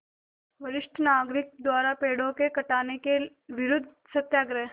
वरिष्ठ नागरिक द्वारा पेड़ों के कटान के विरूद्ध सत्याग्रह